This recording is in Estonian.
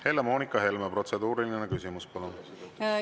Helle‑Moonika Helme, protseduuriline küsimus, palun!